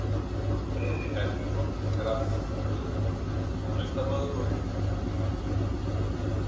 Friðrik Erlingsson er grafískur hönnuður, tónlistarmaður og rithöfundur.